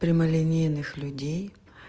прямолинейных людей